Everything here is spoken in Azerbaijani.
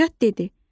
Nicat dedi.